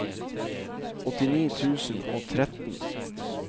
åttini tusen og tretten